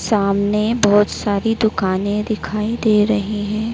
सामने बहोत सारी दुकान दिखाई दे रही है।